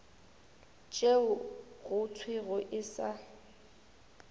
tšeo go thwego e sa